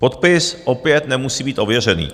Podpis opět nemusí být ověřený.